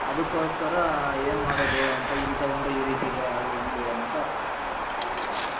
ಅದ್ಕೊಸ್ಕರ ಏನು ಮಾಡದ್ ಅಂತ ಇಲ್ಲಿ ತಗೊಂಡ್ರೆ ಇಲ್ಲಿ ಈ ರೀತಿ ಇದೆ ಅಲ್ಲಿ ಹೆಂಗೆ ಅಂತ